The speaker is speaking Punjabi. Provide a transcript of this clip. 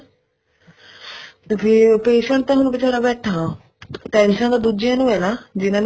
ਫ਼ੇਰ patient ਤਾਂ ਹੁਣ ਵਿਚਾਰਾ ਬੈਠਾ tension ਤਾਂ ਦੂਜਿਆਂ ਨੂੰ ਆ ਜਿਹਨਾ